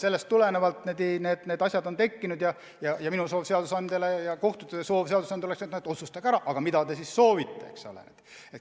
Sellest tulenevalt need asjad on tekkinud ja minu ning kohtute soov seadusandjale on, et otsustage ära, mida te siis soovite.